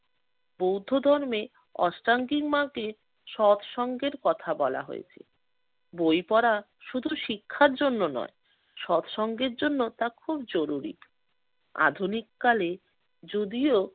বৌদ্ধ ধর্মে অস্ত্রাঙ্গির মাকে সৎ সঙ্গের কথা বলা হয়েছিল। বই পড়া শুধু শিক্ষার জন্য নয় সৎ সঙ্গের জন্য তা খুব জরুরি। আধুনিককালে যদিও